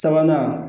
Sabanan